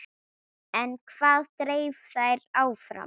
En hvað dreif þær áfram?